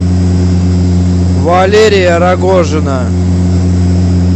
валерия рогожина